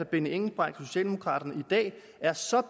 benny engelbrecht og socialdemokraterne i dag er så